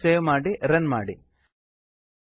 ಫೈಲನ್ನು ಸೇವ್ ಮಾಡಿ ರನ್ ಮಾಡಿ